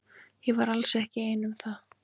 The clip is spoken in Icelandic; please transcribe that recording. Ég var alls ekki ein um það.